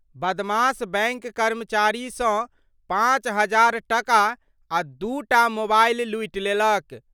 बदमाश बैंक कर्मचारी सं पांच हजार टका आ दूटा मोबाइल लूटि लेलक।